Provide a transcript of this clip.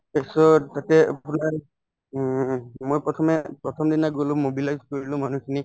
তাৰপিছত তাতে উম মই প্ৰথমে প্ৰথমদিনা গলো mobilize কৰিলো মানুহখিনিক